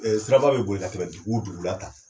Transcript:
Siraraba bɛ boli ka tɛmɛ dugu wo dugu la tan.